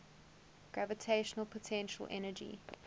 gravitational potential energy